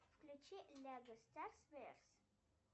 включи лего старз варс